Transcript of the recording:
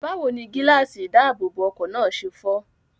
Báwo ni gíláàsì ìdáàbòbọ̀ ọkọ̀ náà ṣe fọ́?